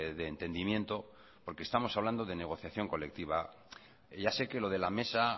de entendimiento porque estamos hablando de negociación colectiva ya sé que lo de la mesa